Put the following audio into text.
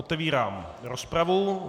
Otevírám rozpravu.